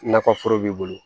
Nakɔ foro b'i bolo